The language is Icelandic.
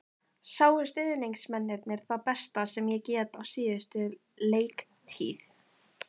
Sáu stuðningsmennirnir það besta sem ég get á síðustu leiktíð?